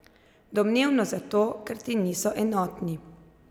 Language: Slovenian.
Domnevno zato, ker ti niso enotni.